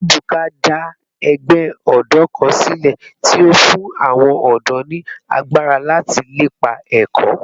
Ebuka da egbe odo kan sile ti o fun awon odo ni agbara lati lepa eko